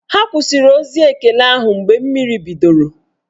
Ha kwụsịrị ozi ekele ahụ mgbe mmiri bidoro